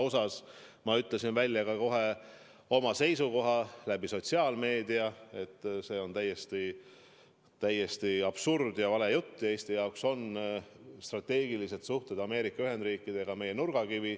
Ja ma ütlesin kohe sotsiaalmeedia kaudu välja oma seisukoha, et see on täiesti absurdne ja vale jutt, Eesti jaoks on strateegilised suhted Ameerika Ühendriikidega meie nurgakivi.